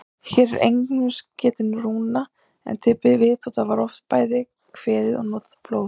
Hér er einungis getið rúna, en til viðbótar var oft bæði kveðið og notað blóð.